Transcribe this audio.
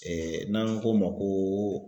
Ee n'an ko ma koo